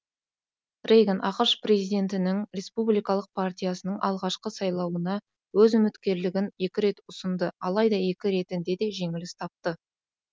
рейган ақш президенттігінің республикалық партиясының ағашқы сайлауына өз үміткерлігін екі рет ұсынды алайда екі ретінде де жеңіліс тапты